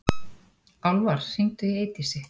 Álfar, hringdu í Eydísi.